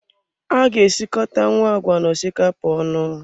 A ga-esikotanwu agwa na osikapa onu